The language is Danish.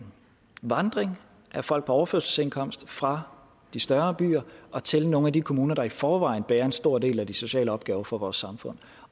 vandring af folk på overførselsindkomst fra de større byer og til nogle af de kommuner der i forvejen bærer en stor del af de sociale opgaver for vores samfund